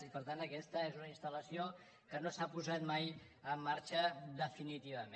i per tant aquesta és una instal·lació que no s’ha posat mai en marxa definitiva·ment